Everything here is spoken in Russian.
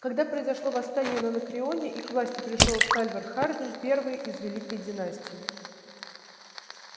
когда произошло восстание на анакреоне и к власти пришёл сальвор хардин первый из великой династии